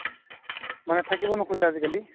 মানে থাকিব নোখোজে আজিকালি